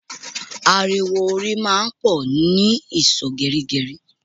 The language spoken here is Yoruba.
Ariwo orin máa ń pò ni ìsò gerigeri